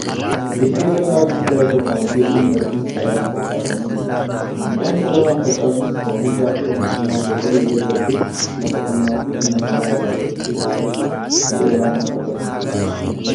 Dirree bal'aa guddaa irra qamadii yookan garbuun saraaran facaafamee jira. Midhaan sararaan facaasuun oomishaa fi oomishtummaa dabaluu bira darbee lafa qonnaa fi humna namaa irree qusachuu keessatti ga'ee ol'aanaa taphata.